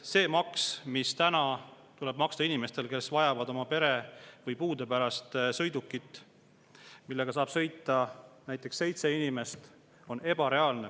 See maks, mis tuleb maksta inimestel, kes vajavad oma pere või puude pärast sõidukit, millega saab sõita näiteks seitse inimest, on ebareaalne.